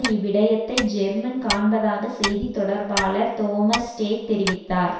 இவ்விடயத்தை German காண்பதாக செய்தி தொடர்பாளர் தோமஸ் ஸ்டேக் தெரிவித்தார்